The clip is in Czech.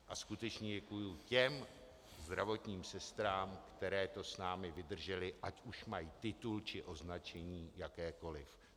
A skutečně děkuji těm zdravotním sestrám, které to s námi vydržely, ať už mají titul či označení jakékoliv.